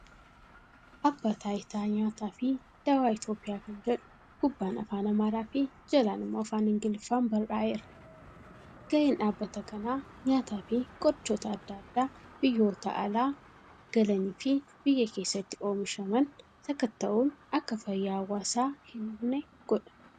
Abbaa Taayitaa Nyaatafi Dawaa Itiyoophiyaa kan jedhu gubbaan Afaan Amaaraafi jalaan immoo Afaan Ingiliffaan barraa'eera. Ga'een dhaabbata kanaa nyaatafi qorichoota adda addaa biyyoota alaa galaniifi biyya keessatti oomishaman sakatta'uun akka fayyaa hawaasaa hin hubne godha.